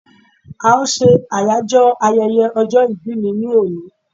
a n se Ayajo ayẹyẹ ọjọ ìbí mi ni oni